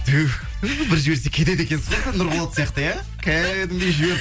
тух ту бір жіберсе кетеді екенсіз ғой бір нұрболат сияқты иә кәдімгідей жіберіп